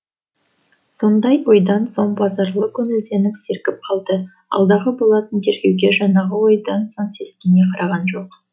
сондай ойдан соң базарлы көңілденіп сергіп алды алдағы болатын тергеуге жаңағы ойдан соң сескене қараған жоқ